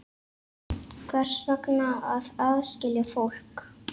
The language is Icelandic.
Hvers vegna að aðskilja fólk?